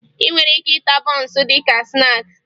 Ị nwere ike ịta bọọnsụ dị ka snaakị